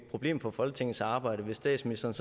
problem for folketingets arbejde hvis statsministeren